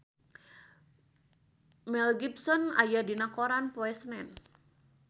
Mel Gibson aya dina koran poe Senen